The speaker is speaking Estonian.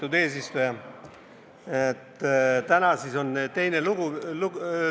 Lugupeetud eesistuja!